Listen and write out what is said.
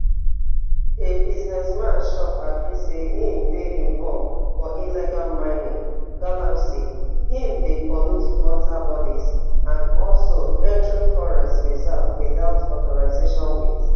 di businessman chop accuse say im dey involve for illegal mining galamsey im dey pollute water bodies and also entering forest reserve without authorization wit